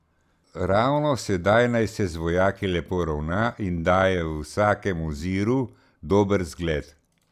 Ravno sedaj naj se z vojaki lepo ravna in daje v vsakem oziru dober vzgled.